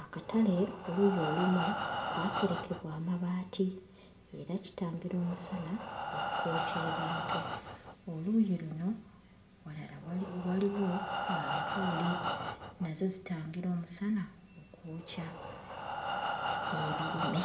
Akatale oluuyi olumu kaaserekebwa amabaati era kitangira omusana okwokya ebintu. Oluuyi luno walala wali... waliwo manvuuli, nazo zitangira omusana okwokya ebirime.